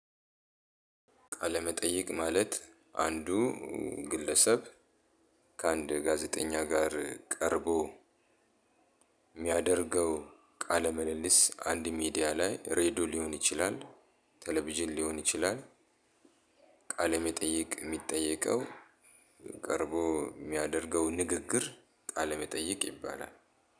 ቃለመጠይቅ ማለት አንዱ ግለሰብ ከአንድ ጋዜጠኛ ጋር ቀርቦ ሚያደርገው ቃለ ምልልስ አንድ ሚዲያ ላይ ሬድዮ ሊሆን ይችላል ቴሌቪዥን ሊሆን ይችላል። ቃለ መጠይቅ ሚጠየቀው ቀርቦ ሚያደርገው ንግግር ቃለመጠይቅ ይባላል።